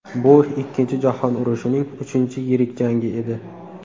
Bu Ikkinchi jahon urushining uchinchi yirik jangi edi.